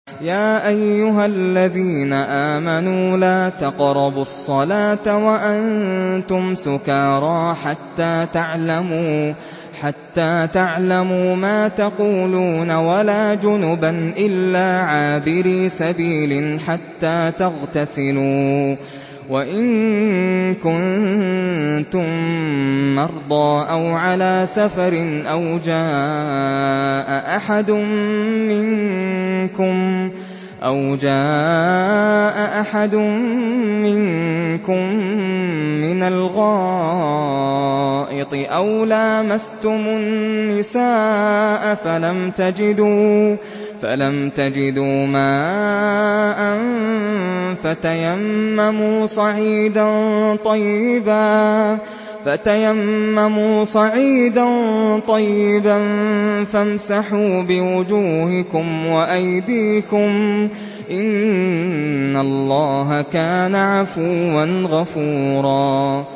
يَا أَيُّهَا الَّذِينَ آمَنُوا لَا تَقْرَبُوا الصَّلَاةَ وَأَنتُمْ سُكَارَىٰ حَتَّىٰ تَعْلَمُوا مَا تَقُولُونَ وَلَا جُنُبًا إِلَّا عَابِرِي سَبِيلٍ حَتَّىٰ تَغْتَسِلُوا ۚ وَإِن كُنتُم مَّرْضَىٰ أَوْ عَلَىٰ سَفَرٍ أَوْ جَاءَ أَحَدٌ مِّنكُم مِّنَ الْغَائِطِ أَوْ لَامَسْتُمُ النِّسَاءَ فَلَمْ تَجِدُوا مَاءً فَتَيَمَّمُوا صَعِيدًا طَيِّبًا فَامْسَحُوا بِوُجُوهِكُمْ وَأَيْدِيكُمْ ۗ إِنَّ اللَّهَ كَانَ عَفُوًّا غَفُورًا